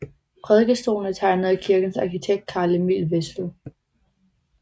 Prædikestolen er tegnet af kirkens arkitekt Carl Emil Wessel